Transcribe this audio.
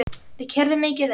Við keyrðum mikið um.